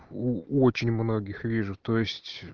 у очень многих вижу то есть